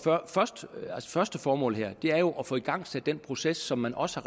første formål her er jo at få igangsat den proces som man også